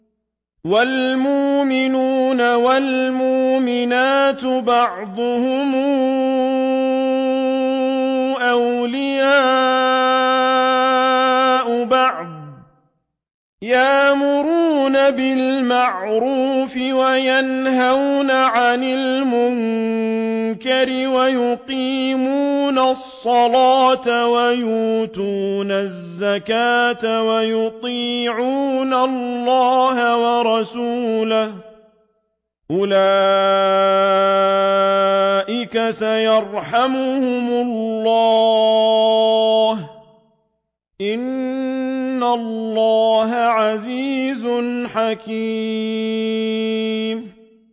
وَالْمُؤْمِنُونَ وَالْمُؤْمِنَاتُ بَعْضُهُمْ أَوْلِيَاءُ بَعْضٍ ۚ يَأْمُرُونَ بِالْمَعْرُوفِ وَيَنْهَوْنَ عَنِ الْمُنكَرِ وَيُقِيمُونَ الصَّلَاةَ وَيُؤْتُونَ الزَّكَاةَ وَيُطِيعُونَ اللَّهَ وَرَسُولَهُ ۚ أُولَٰئِكَ سَيَرْحَمُهُمُ اللَّهُ ۗ إِنَّ اللَّهَ عَزِيزٌ حَكِيمٌ